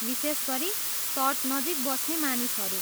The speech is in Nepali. विशेष गरी तटनजिक बस्ने मानिसहरू।